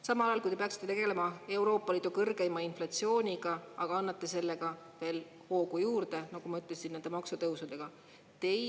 Samal ajal kui te peaksite tegelema Euroopa Liidu kõrgeima inflatsiooniga, annate nende maksutõusudega sellele veel hoogu juurde, nagu ma ütlesin.